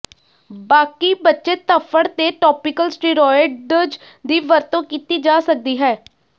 ਬਾਕੀ ਬਚੇ ਧੱਫੜ ਤੇ ਟੌਪੀਕਲ ਸਟੀਰੌਇਡਜ਼ ਦੀ ਵਰਤੋਂ ਕੀਤੀ ਜਾ ਸਕਦੀ ਹੈ